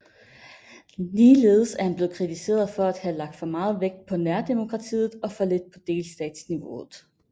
Ligeledes er han blevet kritiseret for at have lagt for meget vægt på nærdemokratiet og for lidt på delstatsniveauet